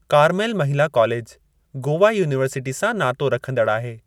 Carmel महिला college Goa university सां नातो रखंदड़ु आहे।